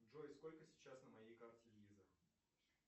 джой сколько сейчас на моей карте виза